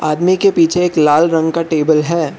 आदमी के पीछे एक लाल रंग का टेबल है।